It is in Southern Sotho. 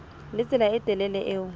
le tsela e telele eo